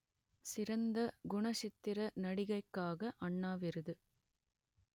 சிறந்த குணச்சித்திர நடிகைக்காக அண்ணா விருது